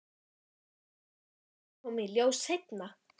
Var gagnstefnandi bær til að svipta aðalstefnanda fyrstu verðlaunum?